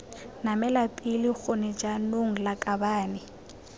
namela pele gone jaanong lakabane